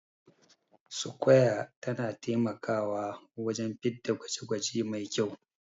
sukwaya na taimakawa wajen fitda gwaje gwaje Mai kyau